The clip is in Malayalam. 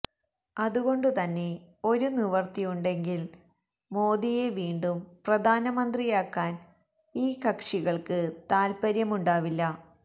അതുകൊണ്ടുതന്നെ ഒരു നിവൃത്തിയുണ്ടെങ്കില് മോദിയെ വീണ്ടും പ്രധാനമന്ത്രിയാക്കാന് ഈ കക്ഷികള്ക്ക് താത്പര്യമുണ്ടാവില്ല